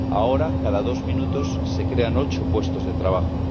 Ahora, cada dos minutos se crean ocho puestos de trabajo.